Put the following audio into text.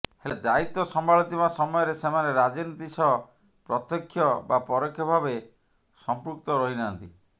ହେଲେ ଦାୟିତ୍ବ ସମ୍ଭାଳୁଥିବା ସମୟରେ ସେମାନେ ରାଜନୀତି ସହ ପ୍ରତ୍ୟକ୍ଷ ବା ପରୋକ୍ଷ ଭାବେ ସମ୍ପୃକ୍ତ ରହିନାହାନ୍ତି